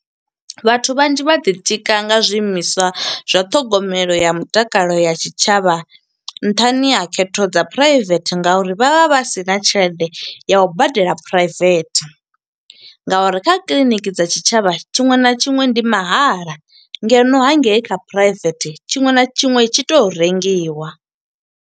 Vhathu vhanzhi vha ḓi tika nga zwiimiswa zwa ṱhogomelo ya mutakalo ya tshitshavha nṱhani ha khetho dza phuraivethe nga uri vha vha vha sina tshelede ya u badela private. Nga uri kha kiḽiniki dza tshitshavha tshiṅwe na tshiṅwe ndi mahala, ngeno hangei kha private tshiṅwe na tshiṅwe tshi to rengiwa.